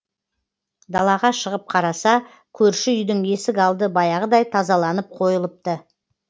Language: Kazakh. далаға шығып қараса көрші үйдің есік алды баяғыдай тазаланып қойылыпты